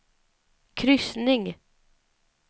kryssning